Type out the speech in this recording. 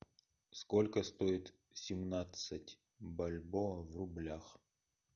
сколько стоит семнадцать бальбоа в рублях